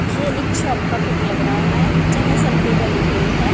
ये एक शॉप का पिक लग रहा है चाहे शेल्फे बनी हुई है।